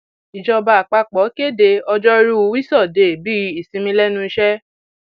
ìjọba àpapọ kéde ọjọrùú wíṣọdẹẹ bíi ìsinmi lẹnu iṣẹ